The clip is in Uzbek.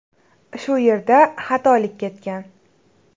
Shu yerda xatolik ketgan”.